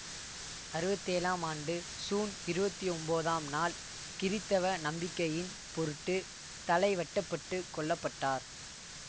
அறுபத்தி ஏழாம் ஆண்டு சூன் இருபத்தி ஒன்போதாம் நாள் கிறித்தவ நம்பிக்கையின் பொருட்டு தலை வெட்டப்பட்டுக் கொல்ல பட்டார்